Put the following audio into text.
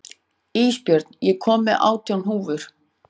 Ísbjörn, ég kom með átján húfur!